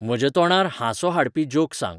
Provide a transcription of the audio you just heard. म्हज्या तोंडार हांसो हाडपी जोक सांग